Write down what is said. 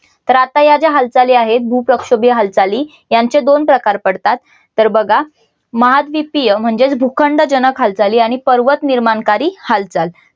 तर आता या ज्या हालचाली आहेत. भूप्रक्षोभीय हालचाली यांच्या दोन प्रकार पडतात. तर बघा. महाद्वीपीय म्हणजेच भूखंड जनक हालचाली आणि पर्वत निर्माणकारी हालचाल